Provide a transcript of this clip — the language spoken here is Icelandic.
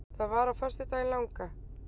Það var á föstudaginn langa.